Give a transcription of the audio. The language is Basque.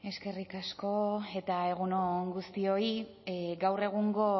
eskerrik asko eta egun on guztioi gaur egungo